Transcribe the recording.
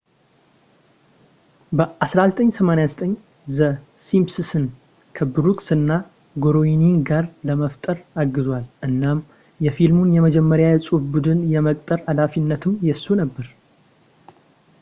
በ1989 ዘ ሲምሰንስን ከብሩክስ እና ጎሮኢኒንግ ጋር ለመፍጠር አግዟል እናም የፊልሙን የመጀመሪያ የጽሑፍ ቡድን የመቅጠር ኃላፊነትም የእሱ ነበር